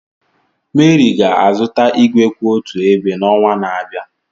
Mary ga-azụta igwe kwụ otu ebe n'ọnwa na-abịa.